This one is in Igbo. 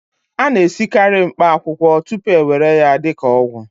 a na-esikarị mkpaakwụkwọ tupu a ewere ya dị ka ọgwụ